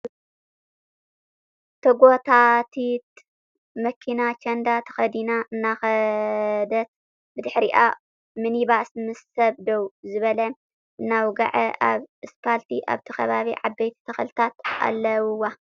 ተጎታቲት መኪና ቸንዳ ተከዲና እናከደት ብድሕሪኣ ሚኒባስ ምስ ሰብ ደው ዝበለ እናውገዐ ኣብ እስፓልቲ ኣብት ከባቢ ዓበይቲ ተክልተት ኣለዉዋ ።